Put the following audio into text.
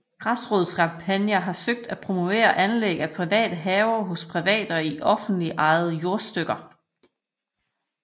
Græsrodskampagner har søgt at promovere anlæg af private haver hos private og i offentligt ejede jordstykker